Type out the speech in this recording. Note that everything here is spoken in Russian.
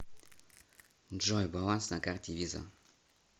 джой баланс на карте виза